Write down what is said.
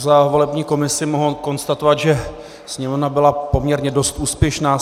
Za volební komisi mohu konstatovat, že Sněmovna byla poměrně dost úspěšná.